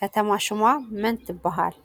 ከተማ ሹማ መን ትብሃል?